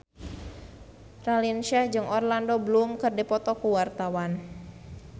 Raline Shah jeung Orlando Bloom keur dipoto ku wartawan